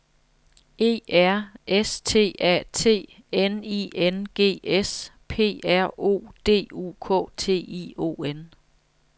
E R S T A T N I N G S P R O D U K T I O N